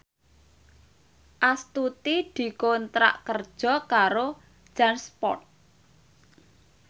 Astuti dikontrak kerja karo Jansport